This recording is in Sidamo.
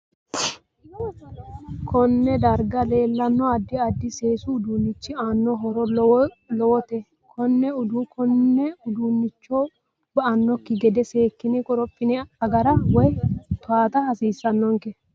Konne darga leelanno addi addi seesu uduunichi aano horo lowote konne uduunicho ba'anokki gede seekine qorophine agara woy tawaata hasiisanonke